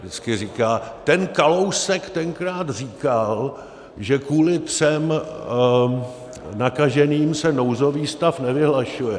Vždycky říká: ten Kalousek tenkrát říkal, že kvůli třem nakaženým se nouzový stav nevyhlašuje.